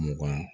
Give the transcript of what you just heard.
Mugan